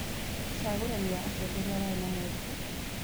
ũcagũrani wa atongoria warĩ na moritũ.